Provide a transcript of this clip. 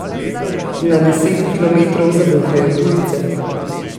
Na deset kilometrov zavohajo tujce.